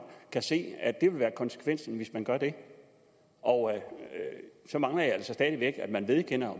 kan se at det vil være konsekvensen hvis man gør det og så mangler jeg altså stadig væk at man vedkender